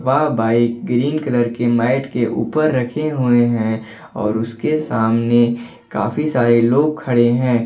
वह bike green colour के mat के ऊपर रखे हुए हैं और उसके सामने काफी सारे लोग खड़े हैं।